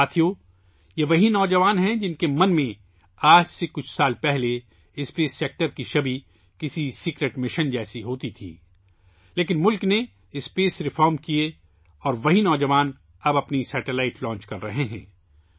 ساتھیو، یہ وہی نوجوان ہیں، جن کے ذہن میں چند سال پہلے خلائی شعبے کی تصویر ایک خفیہ مشن کی طرح تھی، لیکن، ملک نے خلائی اصلاحات کیں، اور وہی نوجوان اب اپنا سیٹلائٹ لانچ کر رہے ہیں